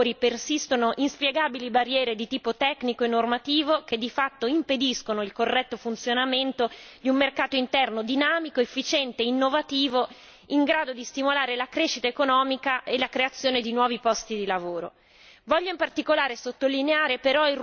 Purtroppo dobbiamo constatare che in molti settori persistono inspiegabili barriere di tipo tecnico e normativo, che di fatto impediscono il corretto funzionamento di un mercato interno dinamico, efficiente e innovativo, in grado di stimolare la crescita economica e la creazione di nuovi posti di lavoro.